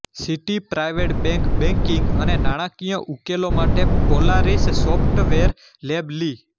city private bank banking અને નાણાંકિય ઉકેલો માટે પોલારિસ સોફ્ટવેર લેબ લિ